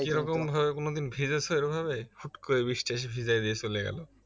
যেরকম ভাবে কোন দিন ভিজেছো এভাবে হুঠ করে বৃষ্টি এসে ভিজাই দিয়ে চলে গেলো